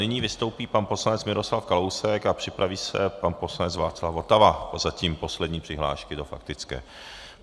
Nyní vystoupí pan poslanec Miroslav Kalousek a připraví se pan poslanec Václav Votava, zatím poslední přihlášky do faktické.